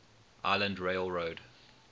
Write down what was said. island rail road